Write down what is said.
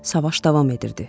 Savaş davam edirdi.